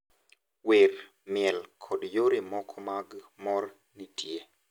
Miel, wer, kod yore mamoko mag mor nitie.